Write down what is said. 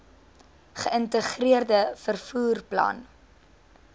geïntegreerde vervoer plan